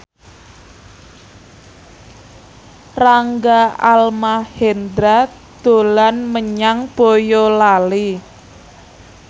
Rangga Almahendra dolan menyang Boyolali